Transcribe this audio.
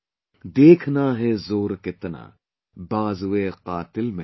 Dekhna hai zor kitna baazueqaatil mein hai